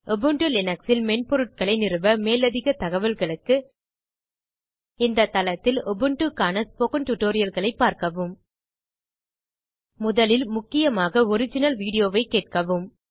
Ubuntu Linux இல் மென்பொருட்களை நிறுவ மேலதிகத் தகவல்களுக்கு இந்த தளத்தில் உபுண்டு க்கான ஸ்போக்கன் tutorialகளைப் பார்க்கவும் முதலில் முக்கியமாக ஒரிஜினல் வீடியோ வைக் கேட்கவும்